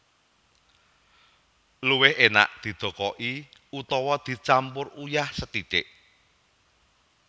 Luwih enak didokoki utawi dicampur uyah sethithik